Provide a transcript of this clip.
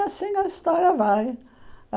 E assim a história vai.